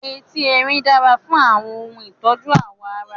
Etí Erin dára fún àwọn ohun ìtọ́jú ààwọ̀ ara.